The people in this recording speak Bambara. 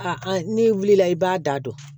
A an'i wulila i b'a da don